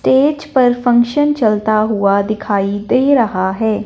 Stage पर function चलता हुआ दिखाई दे रहा है।